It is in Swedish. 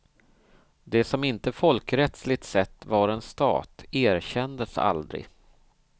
Det som inte folkrättsligt sett var en stat erkändes aldrig.